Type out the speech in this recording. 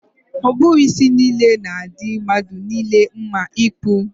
Ọ bụghị isi niile na-adị mmadụ niile mma ịkpụ.